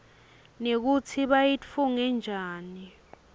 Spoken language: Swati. nekutsi bayitfunge njani